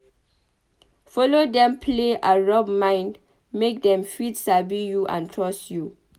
Follow dem play and rub mind make dem fit sabi you and trust you